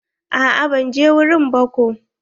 A'a ban je wurin ba ko.